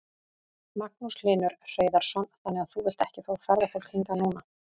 Magnús Hlynur Hreiðarsson: Þannig að þú vilt ekki fá ferðafólk hingað núna?